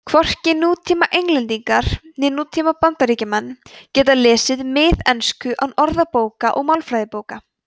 hvorki nútíma englendingar né bandaríkjamenn geta lesið miðensku án orðabóka og málfræðibóka